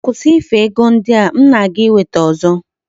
Kwusi ife ego ndi a! M na-aga iweta ozo.